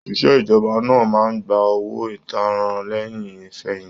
Oṣiṣẹ ìjọba máa n gbà owó ìtanràn lẹyìn ifẹ̀yinti